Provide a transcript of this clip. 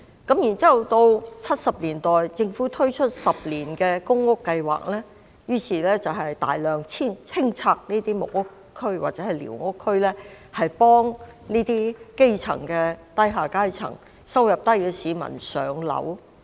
然後在1970年代，政府推出10年公屋計劃，於是大量清拆木屋區和寮屋區，幫助基層和低收入人士上樓。